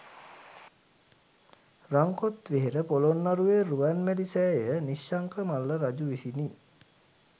රන් කොත් වෙහෙර පොළොන්නරුවේ රුවන්මැලි සෑය නිශ්ශංක මල්ල රජු විසිනි.